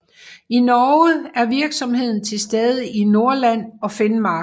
I Norge er virksomheden tilstede i Nordland og Finnmark